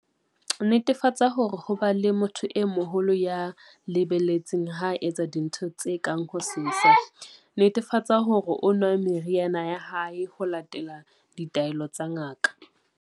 Netefatsa hore ho ba le motho e moholo ya mo le-beletseng ha a etsa dintho tse kang ho sesa. Netefatsa hore o nwa meriana ya hae ho latela ditaelo tsa ngaka.